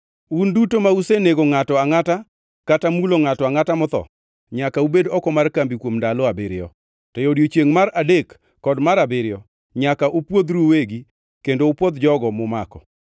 “Un duto ma usenego ngʼato angʼata kata mulo ngʼato angʼata motho nyaka ubed oko mar kambi kuom ndalo abiriyo. To e odiechiengʼ mar adek kod mar abiriyo nyaka upwodhru uwegi kendo upwodh jogo mumako.